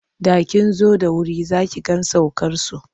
Da kin zo da wuri za ki ga saukarsu.